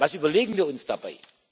Was überlegen wir uns dabei?